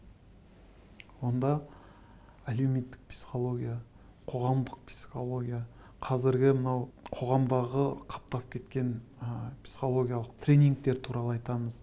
онда әлеуметтік психология қоғамдық психология қазіргі мынау қоғамдағы қаптап кеткен ы психологиялық тренингтер туралы айтамыз